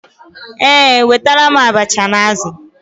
Ee, wetara m abacha na azụ̀.